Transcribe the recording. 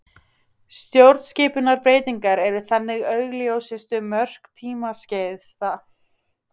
Stjórnskipunarbreytingar eru þannig augljósustu mörk tímaskeiða.